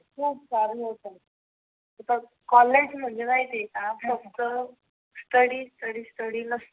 हे बघ कॉलेज म्हणजे माहिती का फक्त स्टडी स्टडी स्टडी लाच फक्त